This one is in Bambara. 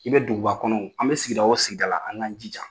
I be duguba kɔnɔ o, an bɛ sigida o sigida la, an k'an jija